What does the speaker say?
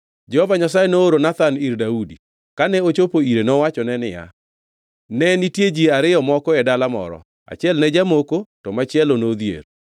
Jehova Nyasaye nooro Nathan ir Daudi. Kane ochopo ire nowachone niya, “Ne nitie ji ariyo moko e dala moro; achiel ne jamoko to machielo nodhier.